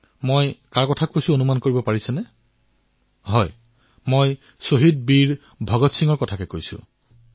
আপোনালোকে গম পাইছে নে মই কাৰ কথা কৈছো মই শ্বহীদ বীৰ ভগৎ সিঙৰ কথা কৈছো